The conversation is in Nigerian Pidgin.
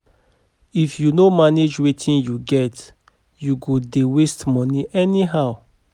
If yu no manage wetin yu get, yu go dey waste money anyhow.